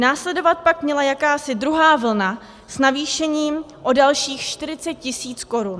Následovat pak měla jakási druhá vlna s navýšením o dalších 40 tisíc korun.